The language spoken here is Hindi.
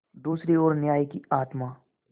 दूसरी ओर न्याय की आत्मा